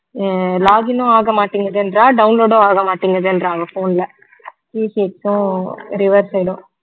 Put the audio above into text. அஹ் login ன்னும் ஆக மாட்டிங்குதுன்றா download ஹம் ஆக மாட்டிங்குதுன்றா அவ phone ல reset ம் river side ம்